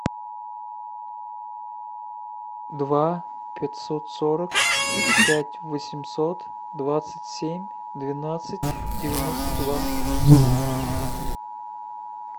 два пятьсот сорок пять восемьсот двадцать семь двенадцать девяносто два